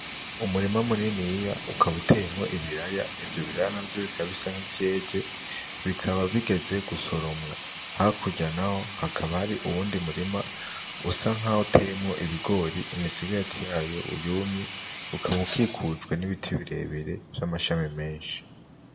Umurima muniniya ukaba uteyemwo ibiraya, ivyo biraya navyo bikaba bisa nk'ivyeze bikaba bigeze gusoromwa, hakurya naho hakaba hari uwundi murima usa nkaho uteyemwo ibigori imisigati yayo yumye, ukaba ukikujwe n'ibiti birebire vy'amashami menshi.